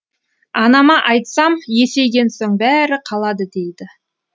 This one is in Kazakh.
анама айтсам есейген соң бәрі қалады дейді